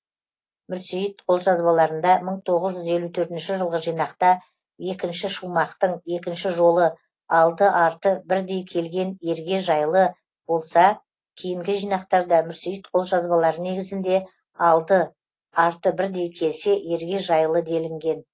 мүрсейіт қолжазбаларында мың тоғыз жүз тоқсан төртінші жылғы жинақта екінші шумақтың екінші жолы алды арты бірдей келген ерге жайлы болса кейінгі жинақтарда мүрсейіт қолжазбалары негізінде алды арты бірдей келсе ерге жайлы делінген